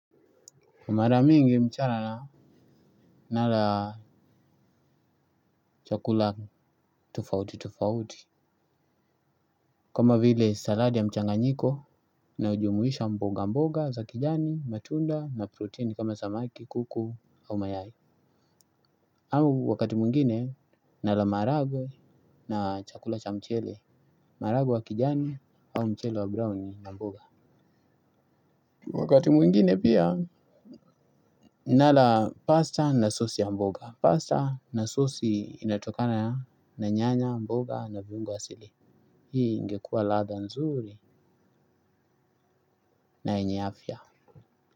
Mara mingi mchana nala chakula tofauti tofauti kama vile saladi ya mchanganyiko inayo jumuisha mboga mboga za kijani, matunda na protein kama samaki, kuku au mayai. Au wakati mwingine nala maharagwe na chakula cha mchele, maharagwe ya kijani au mchele wa brown na mboga. Wakati mwngine pia nala pasta na sossi ya mboga. Pasta na sossi inatokana na nyanya, mboga na viungo asili. Hii ingekua ladha nzuri na yenye afia.